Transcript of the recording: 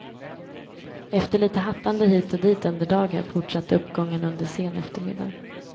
Efter lite hattande hit och dit under dagen fortsatte uppgången under sen eftermiddag.